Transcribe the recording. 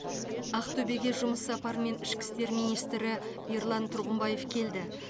ақтөбеге жұмыс сапарымен ішкі істер министрі ерлан тұрғымбаев келді